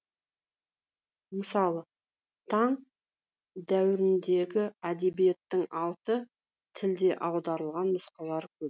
мысалы тан дәуіріндегі әдебиеттің алты тілде аударылған нұсқалары көп